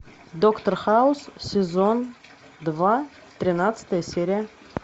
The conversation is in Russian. доктор хаус сезон два тринадцатая серия